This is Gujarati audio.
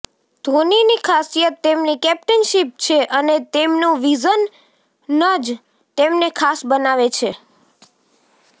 ધોનીની ખાસિયત તેમની કેપ્ટનશિપ છે અને તેમનું વિઝન જ તેમને ખાસ બનાવે છે